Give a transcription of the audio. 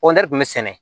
kɔntɛri tun bɛ sɛnɛ